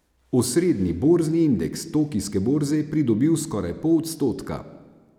Osrednji borzni indeks tokijske borze je pridobil skoraj pol odstotka.